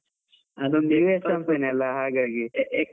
ಅದೊಂದು company US ಅಲ ಹಾಗಾಗಿ.